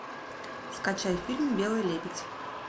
скачай фильм белый лебедь